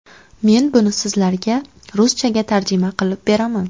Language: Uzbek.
Men buni sizlarga ruschaga tarjima qilib beraman.